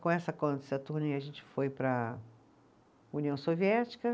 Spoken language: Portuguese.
Com essa, a gente foi para a União Soviética.